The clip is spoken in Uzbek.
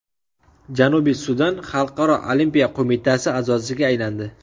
Janubiy Sudan Xalqaro olimpiya qo‘mitasi a’zosiga aylandi.